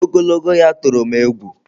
Ogologo ya tụrụ m egwu.